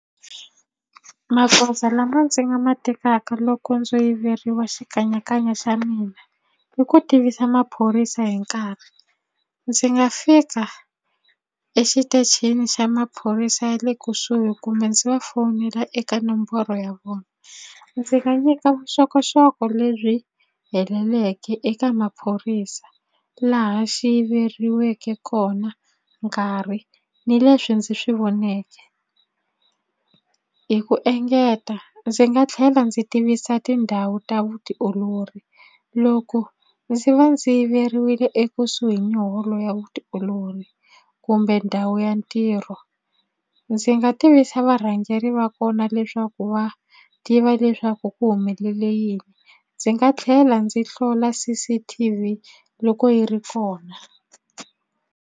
Magoza lama ndzi nga ma tekaka loko ndzo yiveriwa xikanyakanya xa mina i ku tivisa maphorisa hi nkarhi ndzi nga fika exitichini xa maphorisa ya le kusuhi kumbe ndzi va fowunela eka nomboro ya vona ndzi nga nyika vuxokoxoko lebyi heleleke eka maphorisa laha xi yiveriweke kona nkarhi ni leswi ndzi swi voneke hi ku engeta ndzi nga tlhela ndzi tivisa tindhawu ta vutiolori loko ndzi va ndzi yiveriwile ekusuhi ni holo ya vutiolori kumbe ndhawu ya ntirho ndzi nga tivisa varhangeri va kona leswaku va tiva leswaku ku humelele yini ndzi nga tlhela ndzi hlola C_C_T_V loko yi ri kona.